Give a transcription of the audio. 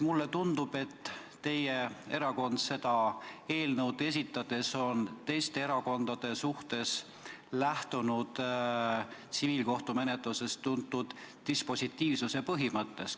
Mulle tundub, et teie erakond on seda eelnõu esitades lähtunud teiste erakondade suhtes tsiviilkohtumenetlusest tuntud dispositiivsuse põhimõttest.